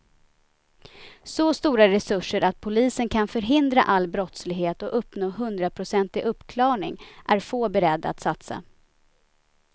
Så stora resurser att polisen kan förhindra all brottslighet och uppnå hundraprocentig uppklarning är få beredda att satsa.